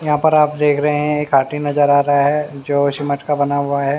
यहां पर आप देख रहे हैं एक नज़र आ रहा है जो सीमेंट का बना हुआ है।